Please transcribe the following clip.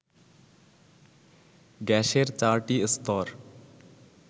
গ্যাসের ৪টি স্তর